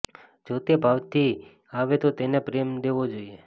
જો તે ભાવથી આવે તો તેને પ્રેમ દેવો જોઈએ